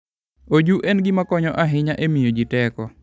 Oju en gima konyo ahinya e miyo ji teko.